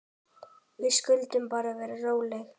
Við skulum bara vera róleg.